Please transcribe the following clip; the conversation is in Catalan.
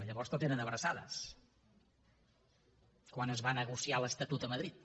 llavors tot eren abraçades quan es va negociar l’estatut a madrid